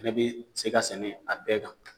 Nabi se ka sɛnɛ a bɛɛ kan